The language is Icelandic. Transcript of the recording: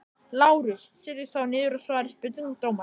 LÁRUS: Setjist þá niður og svarið spurningum dómarans.